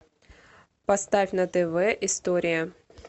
поставь на тв история